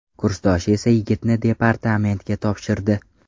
Kursdoshi esa yigitni departamentga topshirdi .